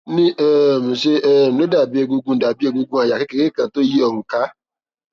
ní um ṣe um ló dàbí egungun dàbí egungun àyà kékeré kan tó yí ọrùn ká